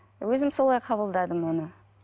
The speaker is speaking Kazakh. өзім солай қабылдадым оны